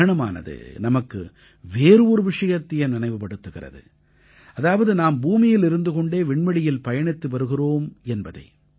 கிரஹணமானது நமக்கு வேறு ஒரு விஷயத்தையும் நினைவுபடுத்துகிறது அதாவது நாம் பூமியில் இருந்து கொண்டே விண்வெளியில் பயணித்து வருகிறோம் என்பதை